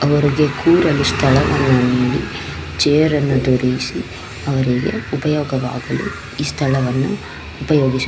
ಅವರಿಗೆ ಕೂರಲು ಸ್ಥಳವನ್ನು ನೀಡಿ ಚೇರ್ ನ್ನು ದೊರೆಯಿಸಿ ಅವರಿಗೆ ಉಪಯೋಗವಾಗಲು ಈ ಸ್ಥಳವನ್ನು ಉಪಯೋಗಿಸು --